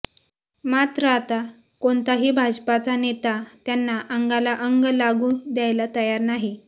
मात्र आता कोणताही भाजपाचा नेता त्यांना अंगाला अंग लागू द्यायला तयार नाही